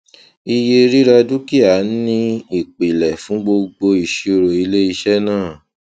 iye rira dúkìá ni ìpìlẹ fún gbogbo ìṣirò ilé iṣẹ náà